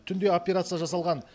түнде операция жасалған